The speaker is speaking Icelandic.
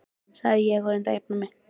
sagði ég og reyndi að jafna mig.